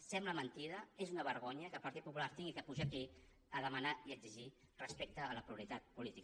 sembla mentida és una vergonya que el partit popular hagi de pujar aquí a demanar i a exigir respecte a la pluralitat política